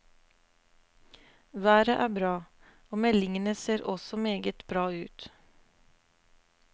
Været er bra og meldingene ser også meget bra ut.